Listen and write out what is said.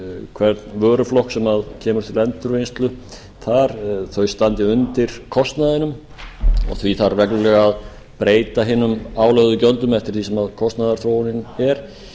hvern vöruflokk sem kemur til endurvinnslu standi undir kostnaðinum og því þarf reglulega að breyta hinum álögðu gjöldum eftir því sem kostnaðarþróunin er